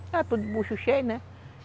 Estavam todos de bucho cheio, né?